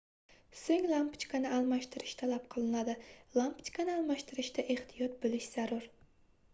soʻng lampochkani almashtirish talab qilinadi lampochkani almashtirishda ehtiyot boʻlish zarur